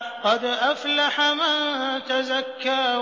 قَدْ أَفْلَحَ مَن تَزَكَّىٰ